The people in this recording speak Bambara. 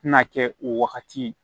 Tɛna kɛ o wagati